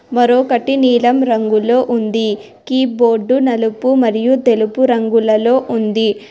మరోకటి నీలం రంగులో ఉంది కీబోర్డు నలుపు మరియు తెలుపు రంగులలో ఉంది.